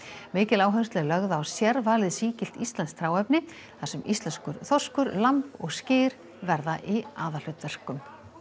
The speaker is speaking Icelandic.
mikil áhersla er lögð á sérvalið sígilt íslenskt hráefni þar sem íslenskur þorskur lamb og skyr verða í aðalhlutverkum